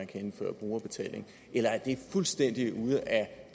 kan indføres brugerbetaling eller er det fuldstændig ude af